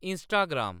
Instagram